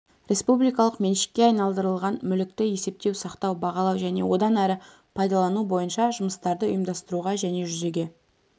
республикалық меншікке айналдырылған мүлікті есептеу сақтау бағалау және одан әрі пайдалану бойынша жұмыстарды ұйымдастыруға және жүзеге